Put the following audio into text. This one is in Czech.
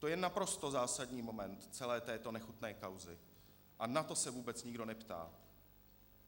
To je naprosto zásadní moment celé této nechutné kauzy a na to se vůbec nikdo neptá.